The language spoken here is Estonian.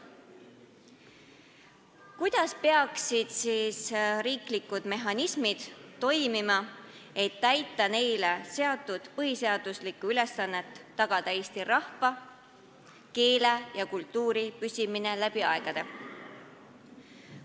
Kuidas peaksid riiklikud mehhanismid toimima, et täita neile pandud põhiseaduslikku ülesannet tagada eesti rahva, keele ja kultuuri püsimine läbi aegade?